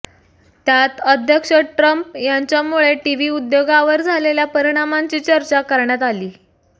त्यात अध्यक्ष ट्रम्प यांच्यामुळे टीव्ही उद्योगावर झालेल्या परिणामांची चर्चा करण्यात आली